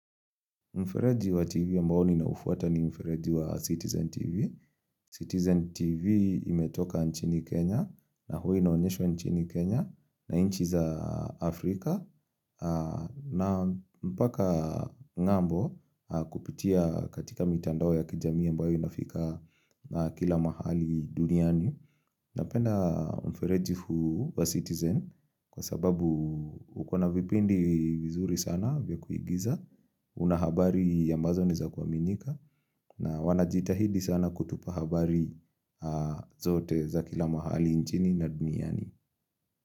Mfereji wa TV ambao ni naufuata ni mfereji wa Citizen TV. Citizen TV imetoka nchini Kenya na huwa inaonyeshwa nchini Kenya na inchi za Afrika. Na mpaka ng'ambo kupitia katika mitandao ya kijamii ambayo inafika kila mahali duniani. Napenda mfereji huu wa Citizen kwa sababu ukona vipindi vizuri sana vya kuigiza. Una habari ambazo ni za kuaminika na wanajita hidi sana kutupa habari zote za kila mahali nchini na duniani.